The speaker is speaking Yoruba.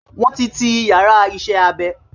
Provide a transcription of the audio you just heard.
Wọ́n ti ti yàrá iṣẹ́-abẹ